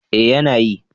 Eh yana yi.